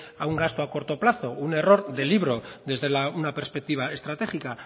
a un gasto a corto plazo un error de libro desde una perspectiva estratégica